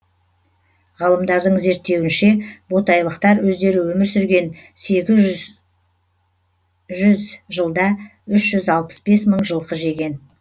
ғалымдардың зерттеуінше ботайлықтар өздері өмір сүрген сегіз жүз жылда үш жүз алпыс бес мың жылқы жеген